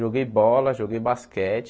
Joguei bola, joguei basquete.